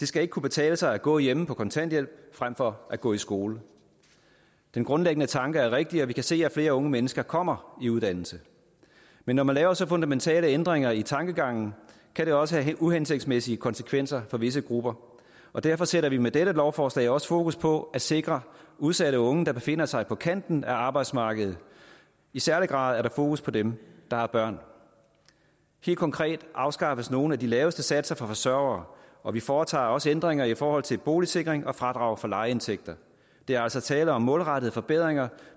skal ikke kunne betale sig at gå hjemme på kontanthjælp frem for at gå i skole den grundlæggende tanke er rigtig og vi kan se at flere unge mennesker kommer i uddannelse men når man laver så fundamentale ændringer i tankegangen kan det også have uhensigtsmæssige konsekvenser for visse grupper og derfor sætter vi med dette lovforslag også fokus på at sikre udsatte unge der befinder sig på kanten af arbejdsmarkedet i særlig grad er der fokus på dem der har børn helt konkret afskaffes nogle af de laveste satser for forsørgere og vi foretager også ændringer i forhold til boligsikring og fradrag for lejeindtægter der er altså tale om målrettede forbedringer